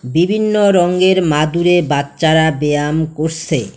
বিভিন্ন রঙ্গের মাদুরে বাচ্চারা ব্যায়াম করসে।